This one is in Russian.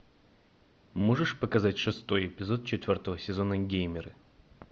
можешь показать шестой эпизод четвертого сезона геймеры